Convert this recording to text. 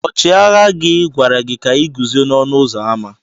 Ọchịagha gị gwara gị ka i guzo n'ọnụ ụzọ ámá.